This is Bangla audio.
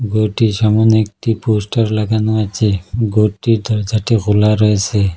ঘরটির সামোনে একটি পোস্টার লাগানো আছে ঘরটির দরজাটা খোলা রয়েসে।